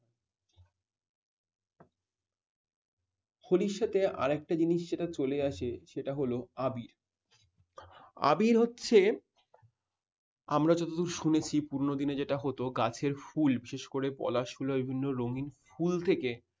হলি র সাথে আরেকটা জিনিস যেটা চলে আসে সেটা হল আবির। আবির হচ্ছে আমরা যতদূর শুনেছি পুরনো দিনের যেটা হতো গাছের ফুল বিশেষ করে পলাশ ফুলের বিভিন্ন রঙিন কুল থেকে